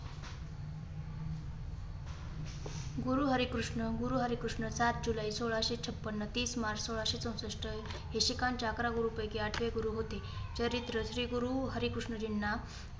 गुरु हरि कृष्ण, गुरु हरि कृष्ण सात जुलै सोळाशे छप्पन्न, तीस मार्च सोळाशे चौसष्ट हे शिखांच्या अकरा गुरूपैकी आठवे गुरु होते. चरित्र श्रीगुरु हरि कृष्णजींना